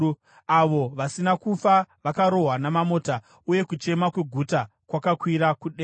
Avo vasina kufa vakarohwa namamota uye kuchema kweguta kwakakwira kudenga.